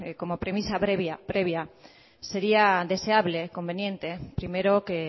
como premisa previa sería deseable conveniente primero que